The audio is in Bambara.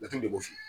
Laturu de b'o f'i ye